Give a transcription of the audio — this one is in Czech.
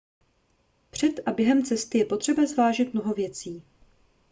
před a během cesty je potřeba zvážit mnoho věcí